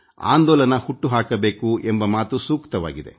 ಆಂದೋಲನ ಹುಟ್ಟುಹಾಕಬೇಕು ಎಂಬ ಮಾತು ಸೂಕ್ತವಾಗಿದೆ